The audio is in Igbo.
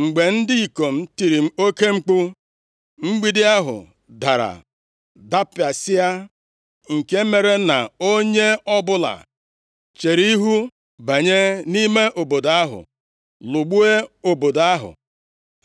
Mgbe ndị ikom tiri oke mkpu, mgbidi ahụ dara dapịasịa, nke mere na onye ọbụla chere ihu banye nʼime obodo ahụ, lụgbuo obodo ahụ.